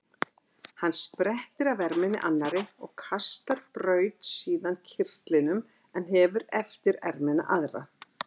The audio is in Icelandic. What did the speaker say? Hann sprettir af erminni annarri og kastar braut síðan kyrtlinum en hefir eftir ermina aðra.